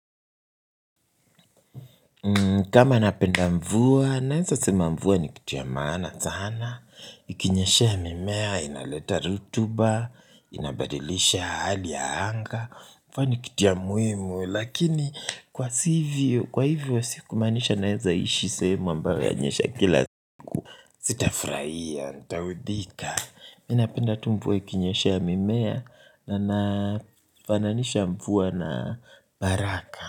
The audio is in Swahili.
Kama napenda mvua, naweza sema mvua ni kitu ya maana sana, ikinyeshea mimea, inaleta rutuba, inabadilisha hali ya anga, kwani kitu ya muhimu, lakini kwa hivyo, kwa hivyo, si kumaanisha naweza ishi sehemu ambayo yanyesha kila. Sitafurahia, nitaudhika, mimi napenda tu mvua ikinyeshea mimea, na nafananisha mvua na baraka.